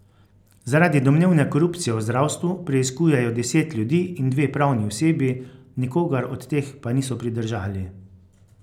Zaradi domnevne korupcije v zdravstvu preiskujejo deset ljudi in dve pravni osebi, nikogar od teh pa niso pridržali.